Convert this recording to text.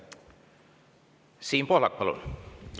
Siin Pohlak, palun!